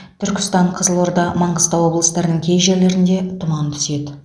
түркістан қызылорда маңғыстау облыстарының кей жерлеріңде тұман түседі